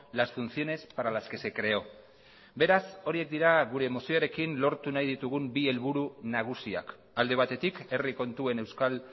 las funciones para las que se creó beraz horiek dira gure mozioarekin lortu nahi ditugun bi helburu nagusiak alde batetik herri kontuen euskal